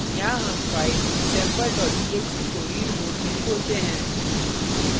यहाँ हम file sample txt को read mode में खोलते हैं